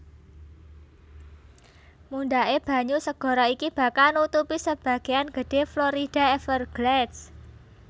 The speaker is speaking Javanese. Mundhaké banyu segara iki bakal nutupi sebagéyan gedhé Florida Everglades